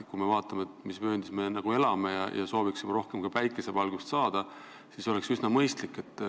Kui me vaatame, mis vööndis me elame, ja soovime rohkem päikesevalgust nautida, siis oleks see üsna mõistlik.